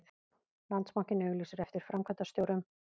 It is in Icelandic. Landsbankinn auglýsir eftir framkvæmdastjórum